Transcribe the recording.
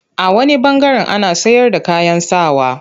A wani ɓangaren ana sayarda kayan sa wa.